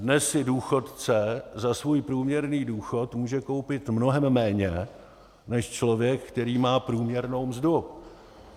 Dnes si důchodce za svůj průměrný důchod může koupit mnohem méně než člověk, který má průměrnou mzdu.